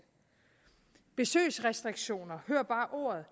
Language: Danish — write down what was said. besøgsrestriktioner hør bare ordet